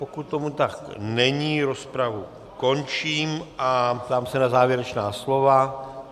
Pokud tomu tak není, rozpravu končím a ptám se na závěrečná slova.